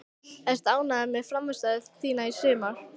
Ertu ánægður með frammistöðu þína í sumar?